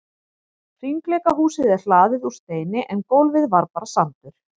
Hringleikahúsið er hlaðið úr steini en gólfið var bara sandur.